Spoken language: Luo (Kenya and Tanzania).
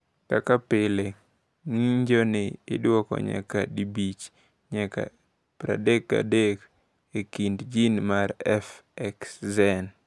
Kaka pile, ng’injoni idwoko nyadi 5 nyaka 33 e kind jin mar FXN.